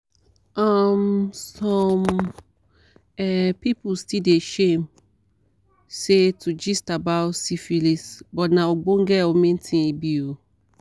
um some um people still dey shame say to gist about syphilis but na ogbonge or main thing e be oo